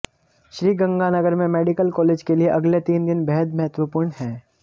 श्रीगंगानगर में medical college के लिए अगले तीन दिन बेहद महत्वपूर्ण हैं